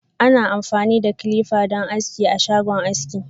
Ana amfani da "clippers" don aski a shagon aski.